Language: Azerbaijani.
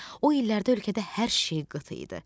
O illərdə ölkədə hər şey qıt idi.